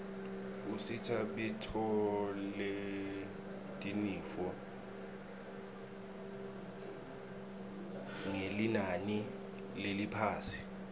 usita bitfoletinifo ngelinani leliphasi